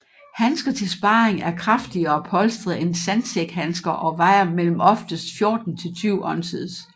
Handsker til sparring er kraftigere polstret end sandsækhandsker og vejer mellem oftest 14 til 20 oz